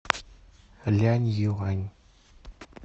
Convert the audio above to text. ляньюань